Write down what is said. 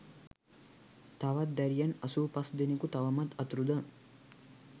තවත් දැරියන් අසූ පස් දෙනකු තවමත් අතුරුදහන්